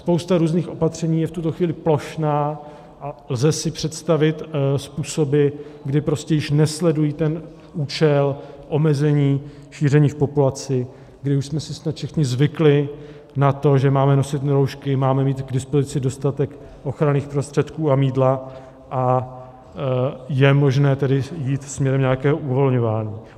Spousta různých opatření je v tuto chvíli plošná a lze si představit způsoby, kdy prostě již nesledují ten účel omezení šíření v populaci, kdy už jsme si snad všichni zvykli na to, že máme nosit roušky, máme mít k dispozici dostatek ochranných prostředků a mýdla, a je možné tedy jít směrem nějakého uvolňování.